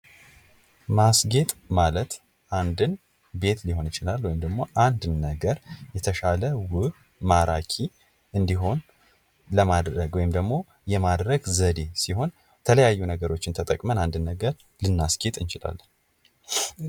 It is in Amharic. ማስጌጥ ማለት አንድን ቤት ሊሆን ይችላል ወይም ደግሞ አንድን ነገር የተሻለ ዉብ ማራኪ እንዲሆን ለማድረግ ወይም ደግሞ የማድረግ ዘዴ ሲሆን። የተለያዩ ነገሮችን ተጠቅመን ልናስጌጥ እንችላለን።